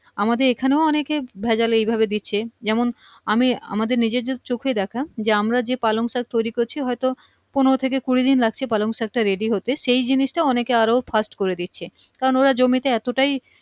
আমাদের এইখানেও অনকে ভেজাল এইভাবে দিচ্ছে যেমন আমি আমাদের নিজেদের চোখে দেখা যে আমরা যে পালং শাক তৈরি করছি হয়তো পনেরো থেকে কুড়ি দিন লাগছে পালং শাক টা ready হতে সেই জিনিসটা অনকে আরো fast করে দিচ্ছে কারণ ওরা জমিতে এতটাই